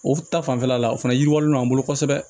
O ta fanfɛla la o fana yiriwalen don an bolo kosɛbɛ